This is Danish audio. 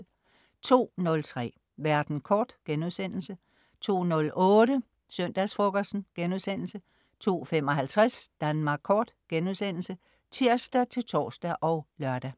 02.03 Verden kort* 02.08 Søndagsfrokosten* 02.55 Danmark Kort* (tirs-tors og lør)